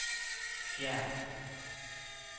fjern